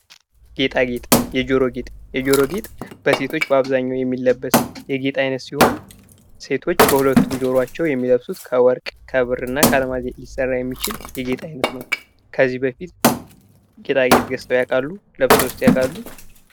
ጌጣጌጥ ። የጆሮ ጌጥ ፡ የጆሮ ጌጥ በሴቶች በአብዛኛው የሚለበስ የጌጥ አይነት ሲሆን ሴቶች በሁለቱም ጆሯቸው የሚለብሱት ከወርቅ ከብር እና ከአልማዝ ሊሰራ የሚችል የጌጥ አይነት ነው ። ከዚህ በፊት ጌጣጌጥ ገዝተው ያውቃሉ? ለብሰውስ ያውቃሉ?